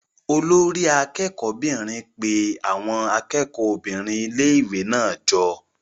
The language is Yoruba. Olori akẹ́kọ̀ọ́ 'bìnrin pe àwọn akẹ́kọ̀ọ́ obìnrin ilé-ìwé náà jọ.